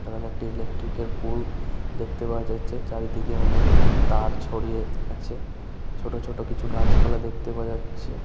এখানে একটি ইলেকট্রিক্ এর পুল দেখতে পাওয়া যাচ্ছে। চারিদিকে অনেক তার ছড়িয়ে আছে। ছোট ছোট কিছু গাছপালা দেখতে পাওয়া যাচ্ছে--